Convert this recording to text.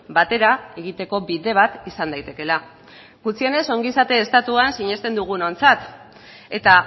batera egiteko bide bat izan daitekeela gutxienez ongizate estatuan sinesten dugunontzat eta